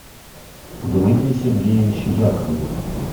дмитрий сергеевич яковлев